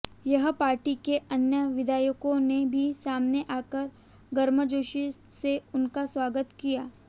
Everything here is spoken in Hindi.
यहां पार्टी के अन्य विधायकों ने भी सामने आकर गर्मजोशी से उनका स्वागत किया